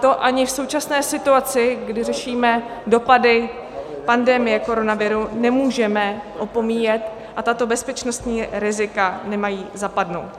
To ani v současné situaci, kdy řešíme dopady pandemie koronaviru, nemůžeme opomíjet a tato bezpečnostní rizika nemají zapadnout.